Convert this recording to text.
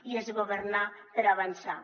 i és governar per avançar